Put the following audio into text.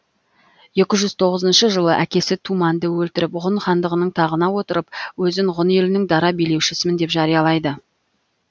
екі жүз тоғызыншы жылы әкесі тумәнді өлтіріп ғұн хандығының тағына отырып өзін ғұн елінің дара билеушісімін деп жариялайды